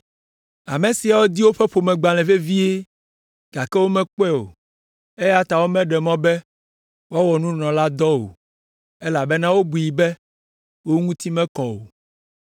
Ame siawo di woƒe ƒomegbalẽ vevie gake womekpɔe o, eya ta womeɖe mɔ be woawɔ nunɔladɔ o, elabena wobui be wo ŋuti mekɔ o.